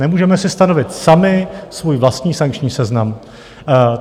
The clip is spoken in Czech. Nemůžeme si stanovit sami svůj vlastní sankční seznam.